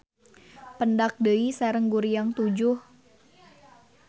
Pendak deui sareng Guriang Tujuh.